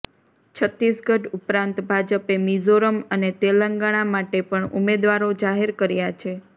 છત્તીસગઢ ઉપરાંત ભાજપે મિઝોરમ અને તેલંગાણા માટે પણ ઉમેદવારો જાહેર કર્યા છે